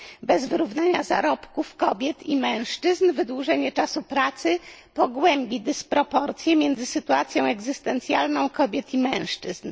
Bez wyrównania zarobków kobiet i mężczyzn wydłużenie czasu pracy pogłębi dysproporcje między sytuacją egzystencjalną kobiet i mężczyzn.